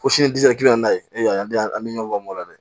Ko sini disi ka n'a ye an den an bɛ ɲɔn ban o la dɛ